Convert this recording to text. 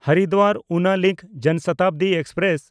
Haridwar-Una link ᱡᱚᱱᱥᱚᱛᱟᱵᱫᱤ express